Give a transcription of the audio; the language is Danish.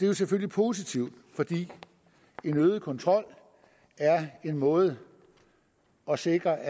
jo selvfølgelig positivt fordi en øget kontrol er en måde at sikre